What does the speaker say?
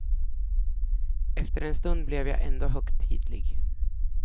Efter en stund blev jag ändå högtidlig.